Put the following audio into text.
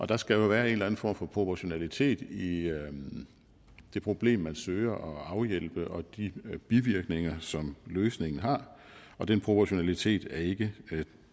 der skal jo være en eller en form for proportionalitet i det problem man søger at afhjælpe og de bivirkninger som løsningen har og den proportionalitet er ikke